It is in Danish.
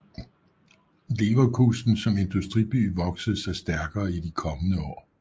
Leverkusen som industriby voksede sig stærkere i de kommende år